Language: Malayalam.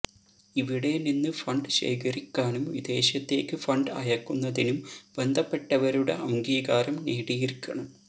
ഇവിടെ നിന്ന് ഫണ്ട് ശേഖരിക്കാനും വിദേശത്തേക്ക് ഫണ്ട് അയക്കുന്നതിനും ബന്ധപ്പെട്ടവരുടെ അംഗീകാരം നേടിയിരിക്കണം